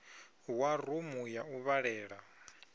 wa rumu ya u vhalela